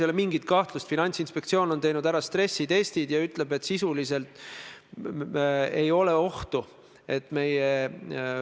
Mul on muidugi rõõm kuulda, et teie juhitud valitsus peab Eesti Vabariigi õiguslikku järjepidevust oluliseks, kui me räägime Stenbocki majast.